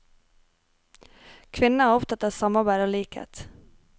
Kvinner er opptatt av samarbeid og likhet.